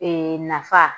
Ee nafa